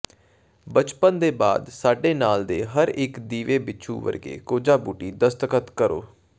ਬਚਪਨ ਦੇ ਬਾਅਦ ਸਾਡੇ ਨਾਲ ਦੇ ਹਰ ਇੱਕ ਦੀਵੇ ਬਿੱਛੂ ਵਰਗੇ ਕੋਝਾ ਬੂਟੀ ਦਸਤਖਤ ਕਰੋ